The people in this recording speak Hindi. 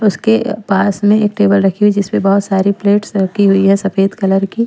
उसके पास में एक टेबल रखी हुई जिस पर बहुत सारी प्लेट्स रखी हुई है सफेद कलर की।